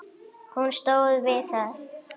Hún stóð við það!